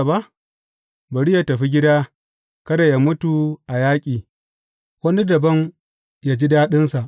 Bari yă tafi gida, kada yă mutu a yaƙi, wani dabam yă ji daɗinsa.